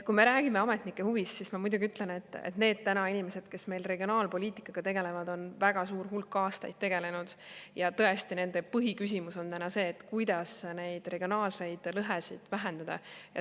Kui me räägime ametnike huvist, siis ma ütlen, et need inimesed, kes meil regionaalpoliitikaga tegelevad, on väga suur hulk aastaid sellega tegelenud ja tõesti, nende põhiküsimus on see, kuidas regionaalseid lõhesid vähendada.